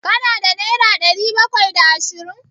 Ka na da naira ɗari bakwai da ashirin?